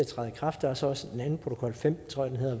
træde i kraft der er så også den anden protokol femten tror jeg